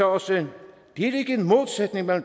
også